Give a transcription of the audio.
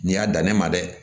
N'i y'a dan ne ma dɛ